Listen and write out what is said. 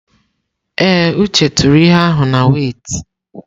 Ee, Uche tụrụ ihe ahụ na wẹ́itị.